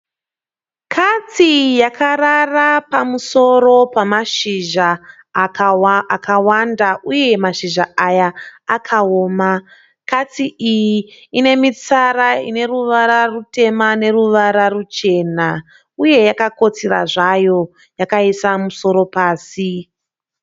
Katsi yakarara pamusoro pemazhizha akawanda, uye mashizha aya akaoma. Katsi iyi inemitsara ineruvara rutema neruvara ruchena, uye yakakakotsira zvayo yakaisa musoro pasi.